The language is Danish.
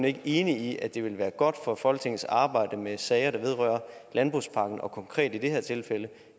ikke enig i at det ville være godt for folketingets arbejde med sager der vedrører landbrugspakken og konkret i det her tilfælde